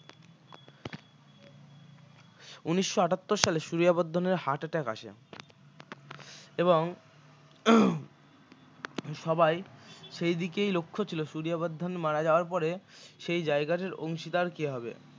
উনিশশো আঠাত্তর সালে সূরিয়া বর্ধন এর heart attack আসে এবং সবাই সেই দিকেই লক্ষ্য ছিল সূরিয়া বর্ধন মারা যাওয়ার পরে সেই জায়গাটার অংশীদার কে হবে